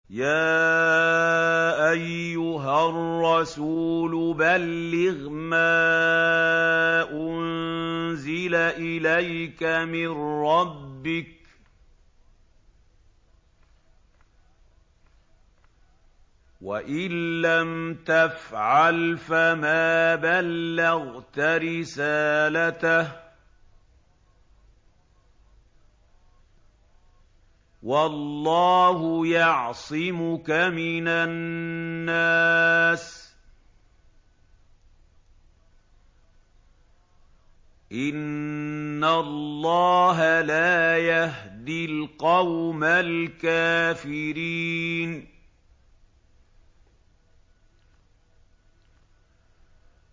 ۞ يَا أَيُّهَا الرَّسُولُ بَلِّغْ مَا أُنزِلَ إِلَيْكَ مِن رَّبِّكَ ۖ وَإِن لَّمْ تَفْعَلْ فَمَا بَلَّغْتَ رِسَالَتَهُ ۚ وَاللَّهُ يَعْصِمُكَ مِنَ النَّاسِ ۗ إِنَّ اللَّهَ لَا يَهْدِي الْقَوْمَ الْكَافِرِينَ